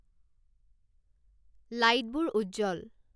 লাইটবোৰ উজ্জ্বল